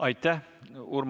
Aitäh!